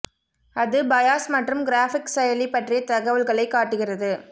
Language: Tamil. அது பயாஸ் மற்றும் கிராபிக்ஸ் செயலி பற்றிய தகவல்களை காட்டுகிறது